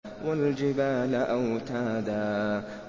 وَالْجِبَالَ أَوْتَادًا